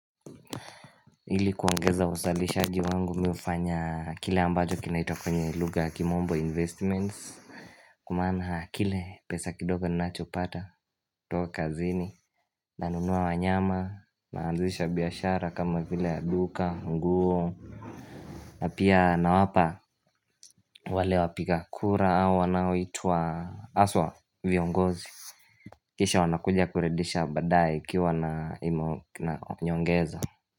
Ili kuongeza uzalishaji wangu mimi hufanya kile ambacho kinaitwa kwenye lugha kimombo investments. Kwa maana kile pesa kidogo ninacho pata kutoka kazini nanunua wanyama naanzisha biashara kama vile ya duka, nguo na pia na wapa wale wapiga kura au wanaoitwa haswa viongozi Kisha wanakuja kurudisha badae ikiwa na nyongeza.